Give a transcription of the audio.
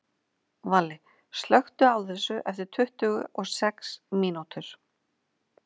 Valli, slökktu á þessu eftir tuttugu og sex mínútur.